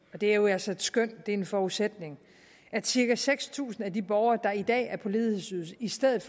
og det er jo altså et skøn det er en forudsætning at cirka seks tusind af de borgere der i dag er på ledighedsydelse i stedet